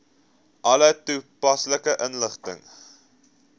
alle toepaslike inligting